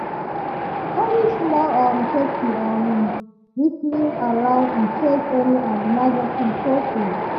she dey carry small um safety um whistle around in case any um emergency show face.